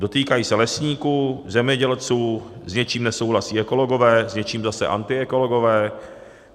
Dotýkají se lesníků, zemědělců, s něčím nesouhlasí ekologové, s něčím zase antiekologové.